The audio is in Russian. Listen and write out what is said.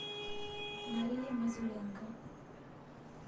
марии мазуренко